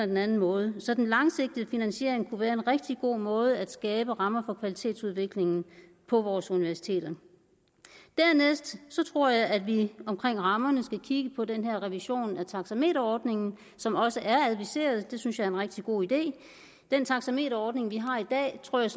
den anden måde så den langsigtede finansiering kunne være en rigtig god måde at skabe rammer for kvalitetsudviklingen på vores universiteter dernæst tror jeg at vi omkring rammerne skal kigge på den her revision af taxameterordningen som også er adviseret det synes jeg er en rigtig god idé den taxameterordning vi har i dag tror jeg